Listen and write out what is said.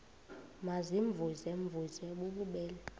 baziimvuze mvuze bububele